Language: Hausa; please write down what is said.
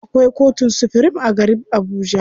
Akwai kotun supirim a garib Abuja.